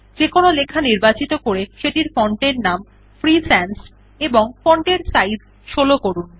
যেকোনো লেখা নির্বাচিত করে সেটির ফন্ট এর নাম ফ্রি সানস এবং font এর সাইজ ১৬ করুন